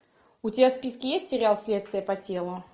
у тебя в списке есть сериал следствие по телу